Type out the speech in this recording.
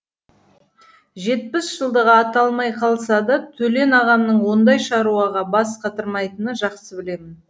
жетпіс жылдығы аталмай қалса да төлен ағамның ондай шаруаға бас қатырмайтынын жақсы білемін